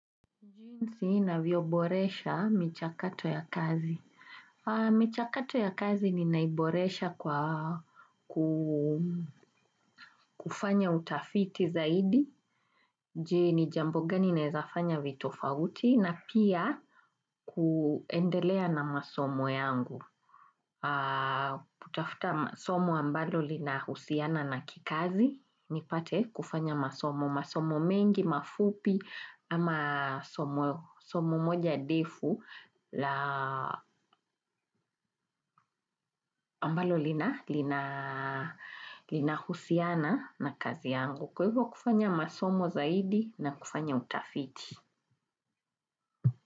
Jinsi navyoboresha michakato ya kazi. Michakato ya kazi ninaiboresha kwa kufanya utafiti zaidi. Je, jambo gani naweza fanya vitofauti na pia kuendelea na masomo yangu. Kutafuta masomo ambalo linahusiana na kikazi nipate kufanya masomo masomo mengi, mafupi ama somo moja refu la ambalo lina husiana na kazi yangu kwa hivyo kufanya masomo zaidi na kufanya utafiti.